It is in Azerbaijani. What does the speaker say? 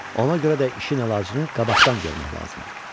Ona görə də işin əlacını qabaqdan görmək lazımdır.